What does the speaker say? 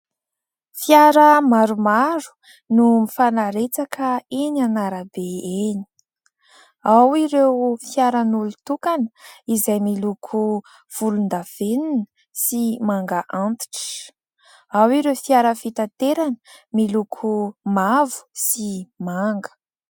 Fiara maromaro no mifanaretsaka enỳ an'arabe enỳ ao ireo fiaran'olon-tokana izay miloko volondavenina sy manga antitra. Ao ireo fiara fitaterana miloko mavo sy manga.